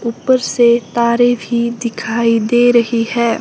ऊपर से तारें भी दिखाई दे रही है।